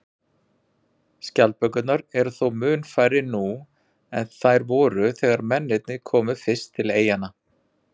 Skjaldbökurnar eru þó mun færri nú en þær voru þegar mennirnir komu fyrst til eyjanna.